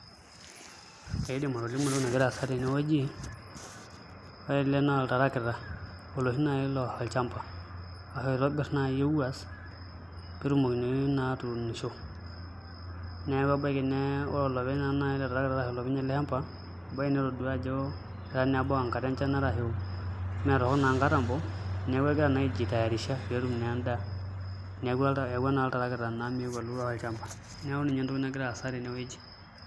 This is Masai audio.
Aidim atolimu entoki nagira aasa tenewueji, ore ele naa oltarakita oloshi naai oturr olchamba oloitobirr naai ewuass pee etumokini naa atuunisho neeku kebaiki naa ore olopeny naai ele tarakita ashu olopeny ele shamba ebaiki netaduaa ajo etaa naa ebau enkata enchan arashu meetorrok naa nkatambo neeku egira naa aijitayarisha pee etum naa endaa eyaua naa oltarakita meeu aun endaa neeku ninye naa entoki nagira aasa tenewueji.